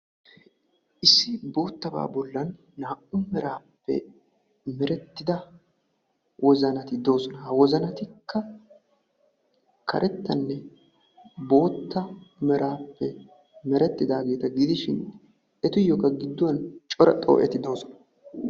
Issi boottabaa bollan naa"u miraappe merettida wozanati doosona. wozanatikka karettanne bootta miraappe merettidaageeta giidishin etuyyooka gidduwan cora xoo'eti doosona.